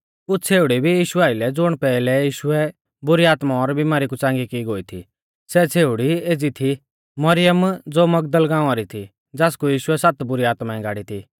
कुछ़ छ़ेउड़ी भी यीशु आइलै थी ज़ुण पेहलै यीशुऐ बुरी आत्मा और बिमारी कु च़ांगी की गोई थी सै छ़ेउड़ी एज़ी थी मरियम ज़ो मगदल गाँवा री थी ज़ासकु यीशुऐ सात बुरी आत्माऐं गाड़ी थी